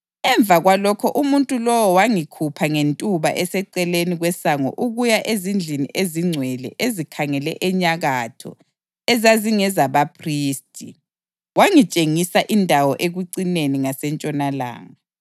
Emva kwalokho umuntu lowo wangikhupha ngentuba eseceleni kwesango ukuya ezindlini ezingcwele ezikhangele enyakatho ezazingezabaphristi, wangitshengisa indawo ekucineni ngasentshonalanga.